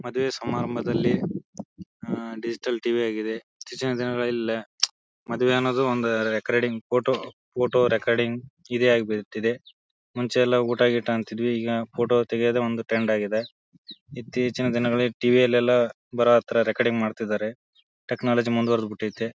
ಮದುವೆ ಸಮಾರಂಬದಲ್ಲಿ ಅಹ್ ಡಿಜಿಟಲ್ ಟಿವಿ ಆಗಿದೆ ಹೆಚ್ಚಿನ ದಿನಗಳಲ್ಲಿ ಮದುವೆ ಅನ್ನೋದು ಒಂದ್ ರೆಕಾರ್ಡಿಂಗ್ ಫೋಟೋ ಫೋಟೋ ರೆಕಾರ್ಡಿಂಗ್ ಇದೆ ಆಗಿ ಬಟ್ಟಿದೆ. ಮುಂಚೆ ಎಲ್ಲಾ ಊಟ ಗೀಟ ಅಂತ ಇದ್ವಿ ಈಗ ಫೋಟೋ ತೆಗೆಯೋದೇ ಒಂದ್ ಟ್ರೆಂಡ್ ಆಗಿದೆ. ಇತ್ತೀಚಿನ ದಿನಗಳಲ್ಲಿ ಟಿವಿ ಲೆಲ್ಲಾ ಬರೊತ್ರ ರೆಕಾರ್ಡಿಂಗ್ ಮಾಡತ್ತಿದ್ದಾರೆ. ಟೆಕ್ನೊಲೊಜಿ ಮುಂದವ್ರದ್ ಭಿಟೈತ್ತೆ.